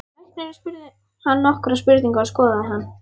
Læknirinn spurði hann nokkurra spurninga og skoðaði hann.